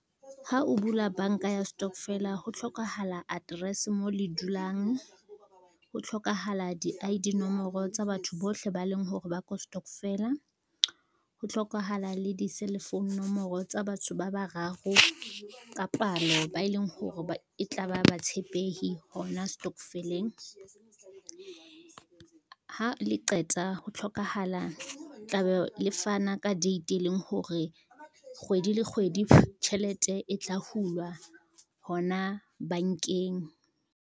Ha o bula banka ya stokvela ho tlhokahala address mo le dulang, ho tlhokahala di-I_D nomoro tsa batho bohle ba leng hore ba ko stokvela, ho tlhokahala le di-cellphone nomoro tsa batho ba bararo ka palo ba e leng hore e tla ba ba tshepehi hona stokveleng. Ha le qeta tla be le fana ka date e leng hore kgwedi le kgwedi tjhelete e tla hulwa hona bankeng.